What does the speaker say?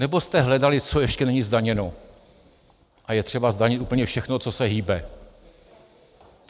Nebo jste hledali, co ještě není zdaněno, a je třeba zdanit úplně všechno, co se hýbe?